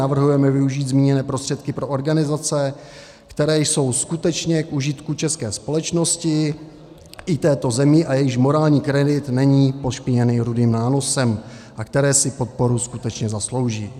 Navrhujeme využít zmíněné prostředky pro organizace, které jsou skutečně k užitku české společnosti i této země a jejichž morální kredit není pošpiněný rudým nánosem a které si podporu skutečně zaslouží.